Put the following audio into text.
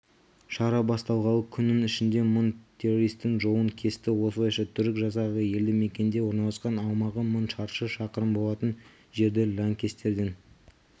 шара басталғалы күннің ішінде мың террористің жолын кесті осылайша түрік жасағы елді мекенде орналасқан аумағы мың шаршы шақырым болатын жерді лаңкестерден